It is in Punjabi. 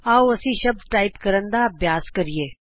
ਆਉ ਅਸੀਂ ਸ਼ਬਦ ਟਾਈਪ ਕਰਨ ਦਾ ਅਭਿਆਸ ਕਰੀਏ